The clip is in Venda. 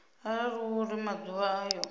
arali hu uri maḓuvha ayo